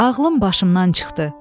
Ağlım başımdan çıxdı.